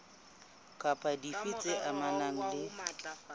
kapa dife tse amanang le